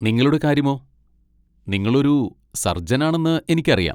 നിങ്ങളുടെ കാര്യമോ, നിങ്ങൾ ഒരു സർജനാണെന്ന് എനിക്കറിയാം.